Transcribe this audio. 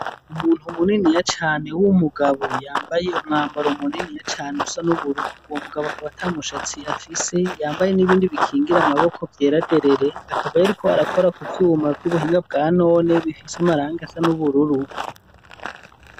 umuntu muniniya cane w'umugabo yambaye umwambaro munini ya cane usa n'ubururu uwo mugabo akaba tamushatsi afise yambaye n'ibindi bikingira amaboko byeraderere akabayariko arakora ku byiwuma by'ubuhinga bwa none bifise amaranga asa nubururu